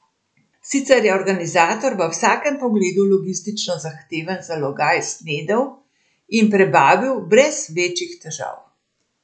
Sicer je organizator v vsakem pogledu logistično zahteven zalogaj snedel in prebavil brez večjih težav.